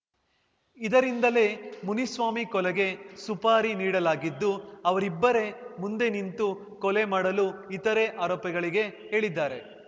ಇದರಿಂದಲೇ ಮುನಿಸ್ವಾಮಿ ಕೊಲೆಗೆ ಸುಪಾರಿ ನೀಡಲಾಗಿದ್ದು ಅವರಿಬ್ಬರೇ ಮುಂದೆ ನಿಂತು ಕೊಲೆ ಮಾಡಲು ಇತರೆ ಆರೋಪಿಗಳಿಗೆ ಹೇಳಿದ್ದಾರೆ